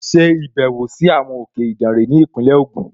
Ṣe ìbẹ̀wò sí àwọn òkè Ìdànre ní Ìpínlẹ̀ Ògùn!